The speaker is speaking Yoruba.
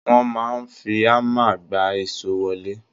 Wọ́n máa ń fi hammar gbá ìso wọlé.